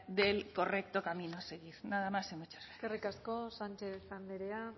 del correcto camino nada más y muchas gracias eskerrik asko sánchez andrea